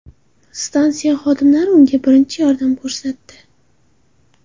Stansiya xodimlari unga birinchi yordam ko‘rsatdi.